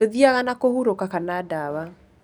Ndũthiaga na kũhurũka kana ndawa.